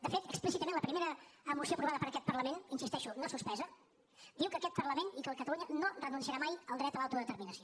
de fet explícitament la primera moció aprovada per aquest parlament hi insisteixo no suspesa diu que aquest parlament i que catalunya no renunciaran mai al dret a l’autodeterminació